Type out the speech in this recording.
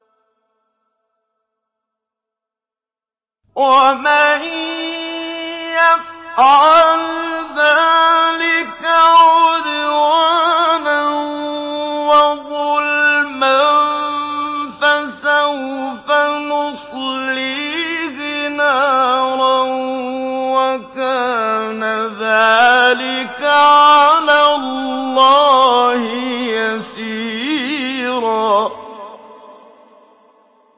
وَمَن يَفْعَلْ ذَٰلِكَ عُدْوَانًا وَظُلْمًا فَسَوْفَ نُصْلِيهِ نَارًا ۚ وَكَانَ ذَٰلِكَ عَلَى اللَّهِ يَسِيرًا